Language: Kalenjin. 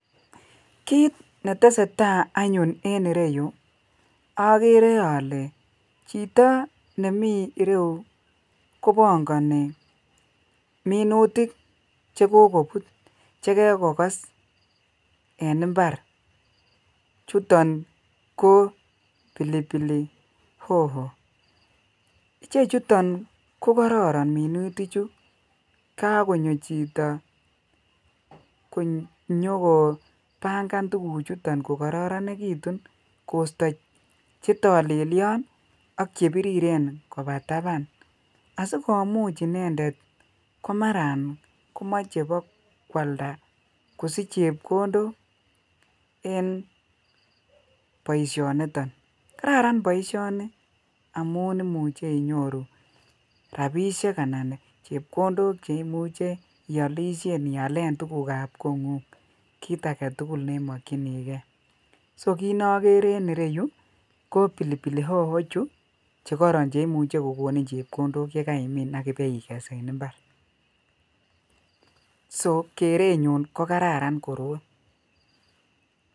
Kit netesata anyun en ireyu agere ale chito nemi ireyu kobangani minutik che kokobut, chekokokes en imbar, chuto ko pilipili hoho. Chechito ko kororon minutichu. Kagonyo chito konyokopangan tuguchuton kokororonegitu koosto chetolelio ak chebiriren koba taban asigomuch inendet komarakomoche bokwalda kosich chepkondok en boisionito. Kararan boisioni amun imuche inyoru rapisiek anan chepkondok che imuche ialisien, ialen tugukab kongung. Kit agetugul nemakyinige. Sokitnokere en ireyu ko pilipili hoho chu chegororon che imuche kogonin chepkondok chekaimin ak ibaiges en imbar. Sokerenyun ko kararan koroi.